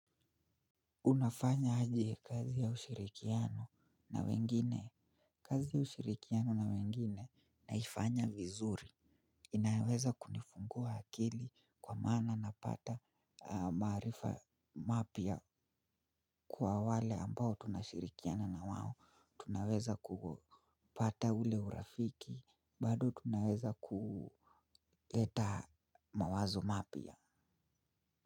Unafanya aje kazi ya ushirikiano na wengine. Kazi ya ushirikiano na wengine naifanya vizuri. Inaweza kunifungua akili kwa maana napata maarifa mapya. Kwa wale ambao tunashirikiana na wao, tunaweza kupata ule urafiki, bado tunaweza kuleta mawazo mapya.